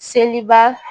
Seliba